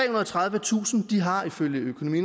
og tredivetusind har ifølge økonomi